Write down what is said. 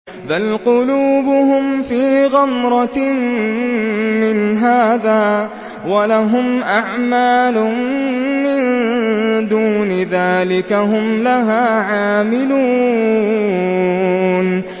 بَلْ قُلُوبُهُمْ فِي غَمْرَةٍ مِّنْ هَٰذَا وَلَهُمْ أَعْمَالٌ مِّن دُونِ ذَٰلِكَ هُمْ لَهَا عَامِلُونَ